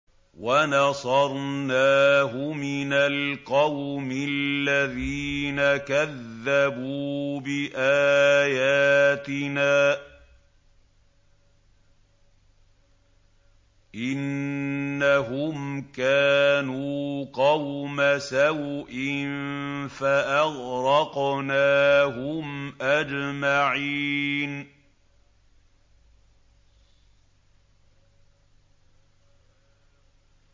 وَنَصَرْنَاهُ مِنَ الْقَوْمِ الَّذِينَ كَذَّبُوا بِآيَاتِنَا ۚ إِنَّهُمْ كَانُوا قَوْمَ سَوْءٍ فَأَغْرَقْنَاهُمْ أَجْمَعِينَ